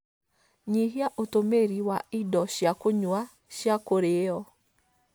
Nyihia ũtũmĩri wa indo cia kunywa cia kurĩĩo